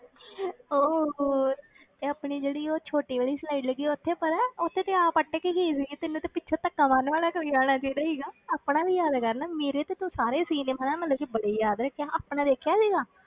ਓਹ ਹੋ ਇਹ ਆਪਣੀ ਜਿਹੜੀ ਉਹ ਛੋਟੀ ਵਾਲੀ slide ਹੈਗੀ ਆ ਉੱਥੇ ਪਤਾ ਉੱਥੇ ਤੇ ਆਪ ਅਟਕ ਗਈ ਸੀਗੀ ਤੈਨੂੰ ਤੇ ਪਿੱਛੋਂ ਧੱਕਾ ਮਾਰਨ ਵਾਲਾ ਕੋਈ ਆਉਣਾ ਚਾਹੀਦਾ ਸੀਗਾ, ਆਪਣਾ ਵੀ ਯਾਦ ਕਰ ਨਾ ਮੇਰੇ ਤੇ ਤੂੰ ਸਾਰੇ scene ਹਨਾ ਮਤਲਬ ਕਿ ਬੜੇ ਯਾਦ ਰੱਖੇ ਆ ਆਪਣਾ ਵੇਖਿਆ ਸੀਗਾ।